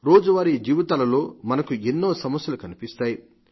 రోజువారీ జీవితాలతో మనకు ఎన్నో సమస్యలు కనిపిస్తాయి